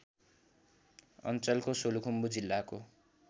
अञ्चलको सोलुखुम्बु जिल्लाको